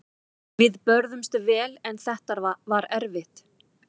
Við börðumst vel en þetta var erfitt.